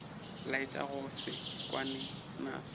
laetša go se kwane naso